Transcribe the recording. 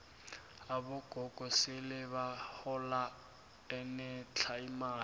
abogogo sele bahola enetlha imali